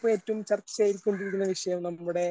ഇപ്പോൾ ഏറ്റവും ചർച്ചയായി ഇരിക്കേണ്ട വിഷയം നമ്മുടെ